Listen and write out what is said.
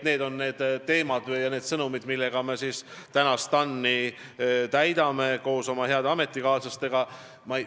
Need on teemad või sõnumid, millega ma koos oma heade ametikaaslastega TAN-i koosolekul tegelen.